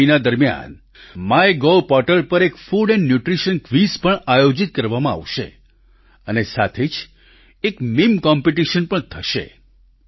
પોષણ મહિના દરમિયાન માયગોવ પોર્ટલ પર એક ફૂડ એન્ડ ન્યૂટ્રિશન ક્વિઝ પણ આયોજિત કરવામાં આવશે અને સાથે જ એક મીમ કોમ્પિટિશન પણ થશે